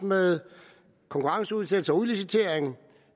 med konkurrenceudsættelse og udlicitering